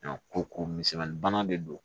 ko ko misɛnmani bana de don